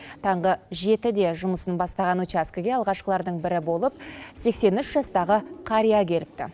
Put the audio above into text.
таңғы жетіде жұмысын бастаған учаскіге алғашқылардың бірі болып сексен үш жастағы қария келіпті